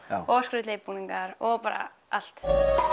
og skrautlegir búningar og bara allt